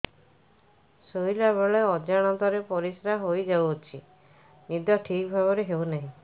ଶୋଇଲା ବେଳେ ଅଜାଣତରେ ପରିସ୍ରା ହୋଇଯାଉଛି ନିଦ ଠିକ ଭାବରେ ହେଉ ନାହିଁ